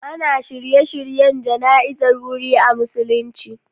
Ana shirye-shiryen jana'izar wuri a musulunci.